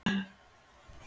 Og sér eru nú hver griðin!